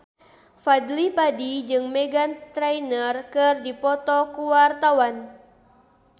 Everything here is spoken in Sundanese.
Fadly Padi jeung Meghan Trainor keur dipoto ku wartawan